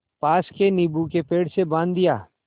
पास के नीबू के पेड़ से बाँध दिया